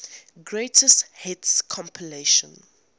greatest hits compilation